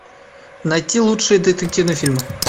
найти лучшие детективные фильмы